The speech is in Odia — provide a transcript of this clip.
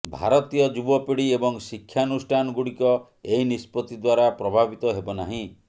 ଭାରତୀୟ ଯୁବପିଢି ଏବଂ ଶିକ୍ଷାନୁଷ୍ଠାନ ଗୁଡିକ ଏହି ନିଷ୍ପତ୍ତି ଦ୍ବାରା ପ୍ରଭାବିତ ହେବ ନାହିଁ